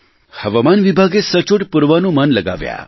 હવામાન વિભાગે સચોટ પૂર્વાનુમાન લગાવ્યા